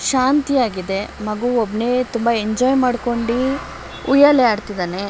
ಶಾಂತಿ ಆಗಿದೆ ಮಗು ಒಬ್ನೇ ಎಂಜಾಯ್ ಉಯ್ಯಾಲೆ ಅಡ್ತ ಇದ್ದಾನೆ.